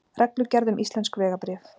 Reglugerð um íslensk vegabréf.